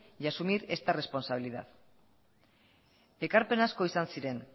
y asumir esta responsabilidad ekarpen asko izan ziren